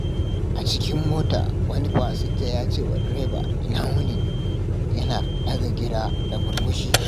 A cikin mota, wani fasinja ya ce wa direba, "Ina wuni" yana ɗaga gira da murmushi.